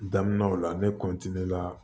Daminɛ o la ne la